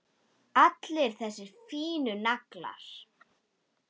Allir þessir fínu naglar!